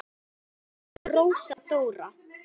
Þín systir Rósa Dóra.